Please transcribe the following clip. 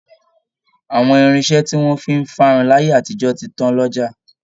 Àwọn irinṣẹ́ tí wọ̀n fi ń fárun láyé àtijọ́ ti tán lọ́jà